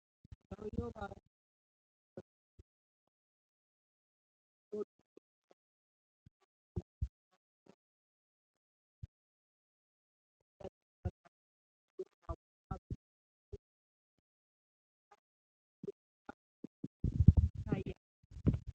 ሰውዬው ባረጁ ግድግዳዎች ባለው ዎርክሾፕ ውስጥ የተጎዱ መኪናዎችን በጥንቃቄ ይጠግናል። ሦስት ነጭ መኪኖች ከመበላሸታቸው የተነሳ ጭንቀትን ይፈጥራሉ። ሰውዬው በአቧራ በተሸፈነው የመኪናው የኋላ ክፍል ላይ እየሰራ በብስጭት ይታያል።